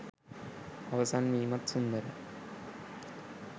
අවසන් වීමත් සුන්දරයි.